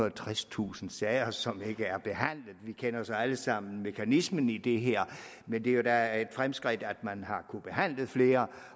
og tredstusind sager som ikke er behandlet vi kender alle sammen mekanismen i det her men det er da et fremskridt at man har kunnet behandle flere